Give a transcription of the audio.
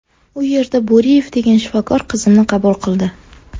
U yerda Bo‘riyev degan shifokor qizimni qabul qildi.